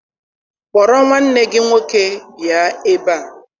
Kpọrọ nwanne gị nwoke bịa ebe a!